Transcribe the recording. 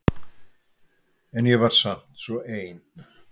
En ég var samt svo ein.